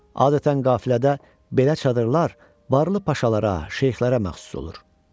Adətən qafilədə belə çadırlar varlı paşalara, şeyxlərə məxsus olur.